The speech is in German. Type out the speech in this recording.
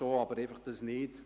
Ja, schon, aber das nicht.